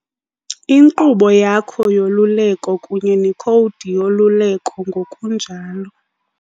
Inkqubo yakho yoluleko kunye nekhowudi yoluleko, ngokunjalo